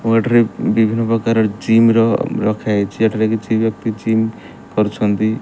ଓ ଏଠାରେ ବିଭିନ୍ନ ପ୍ରକାର ଜିମ ର ରଖା ହେଇଚି। ଏଠାରେ କିଛି ବ୍ୟକ୍ତି ଜିମ କରୁଛନ୍ତି।